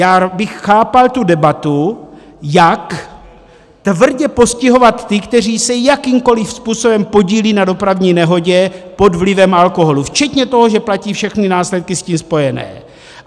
Já bych chápal tu debatu, jak tvrdě postihovat ty, kteří se jakýmkoliv způsobem podílejí na dopravní nehodě pod vlivem alkoholu včetně toho, že platí všechny následky s tím spojené.